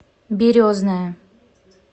березная